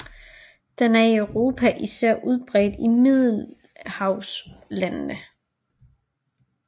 Den er i Europa især udbredt i middelhavslandene